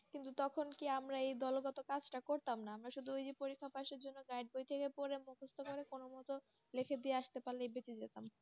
কিন্তু তখন কি আমরা এই দলগত কাজটা করতাম না আমরা শুধু এই যে পরীক্ষার পাশের জন্য Guide বই থেকে পড়ে মুখস্ত করে কোনো মত লিখে দিয়ে আসতে পারলে বেঁচে যেতাম